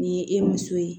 Ni ye e muso ye